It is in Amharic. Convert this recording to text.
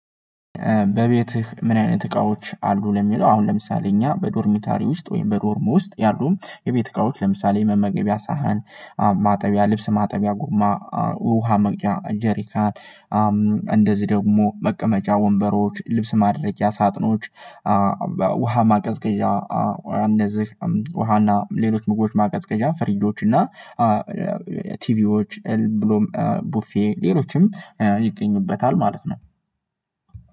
በቤትህ ምን አይነት እቃዎች አሉ? ለሚለው አሁን ለምሳሌ እኛ በዶርሚተሪ ውስጥ ወይም በዶርም ውስጥ ያሉ የቤት እቃዎች ለምሳሌ የመመገቢያ ሳህን ማጠቢያ ልብስ፣ ማጠቢያ ጉማ፣ ውሃ መቅጃ ጀሪካን፣ እንደዚህ ደግሞ መቀመጫ ወንበሮች፣ ልብስ ማድረጃ ሳጥኖች፣ ውሃ ማቀዝቀዣ እንደዚህ ውሃና ሌሎች ምግቦች ማቀዝቀዣ ፈሪጆች እና ቲቪዎች ቡፌ ሌሎችም ይገኙበታል ማለት ነው።